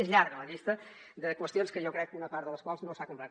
és llarga la llista de qüestions que jo crec que una part de les quals no s’ha complert